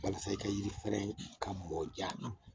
Walasa i ka yiri fɛrɛn ka mɔ ja.